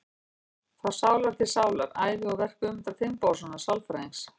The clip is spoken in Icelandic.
Frá sál til sálar: Ævi og verk Guðmundar Finnbogasonar sálfræðings.